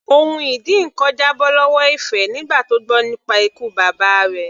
Ohun ìdínkan já bọ́ lọ́wọ́ Ife nígbà tó gbọ́ nípa ikú bàbá rẹ̀.